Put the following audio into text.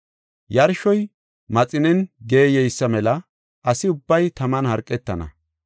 “Yarshoy maxinen geeyeysa mela asi ubbay taman harqetana.